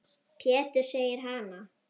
Pétur segir hana!